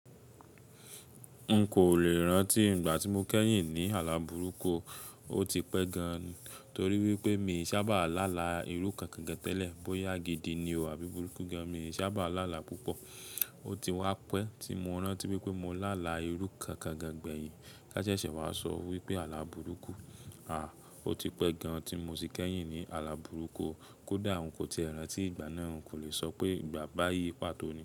N kò lè rántí ìgbà tí mo kẹ́yìn ní àlá bùrúkú, ó ti pẹ́ gan-an torí wípé mi ò sábà láàlá irú kan gangan tẹ́lẹ̀. Bóyá gidi ni o àbí burúkú gan, mi ò sábà láàlá púpọ̀. Ó ti wá pẹ́ tí mo rántí wípé mo láàlá irú kan gangan gbẹ̀yìn. Ká ṣe sẹ̀ wá sọ wípé àlá bùrúkú. À, ó ti pẹ́ gan tí mo ti kẹ́yìn ní àlá bùrúkú. Kódà n kò ti rántí ìgbà náà, n kò lè sọ pé ìgbà báyìí pàtó ni.